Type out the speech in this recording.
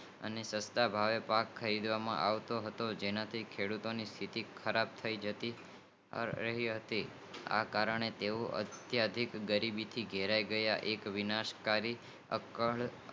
અને સસ્તા ભાવે પાક વેહવામા આવતો હતો જેના કારણે ખેડૂતો ની સ્થિતિ ખરાબ થાય ગઈ હતી આ કારણ ને તેવો અતિયંત ગરીબી ભી પીડાઈ ગયા હતા એક વિનાશ કરી